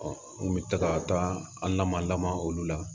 n kun bɛ taga an nama olu la